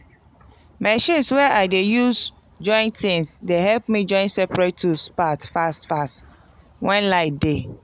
machines wey i dey use join tings dey help me join seprate tools part fast fast wen light dey.